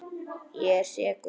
Ég er sekur.